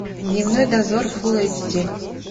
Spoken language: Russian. дневной дозор фулл эйч ди